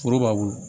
Foro b'a bolo